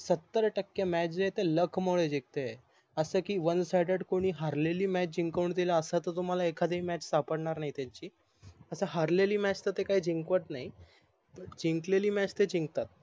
सत्तर टक्के match जे आहे ते लक मुळे जिकते अस की ONESIDED कोणीच हरलेली MATCH कोणी जिंकऊन देईल अस कोणी तर तुम्हाला एखादी MATCH सापडणार नाही त्यांची आता हारलेली MATCH तर ते जिंकवत नाही जिंकलेली MATCH ते जिंकतात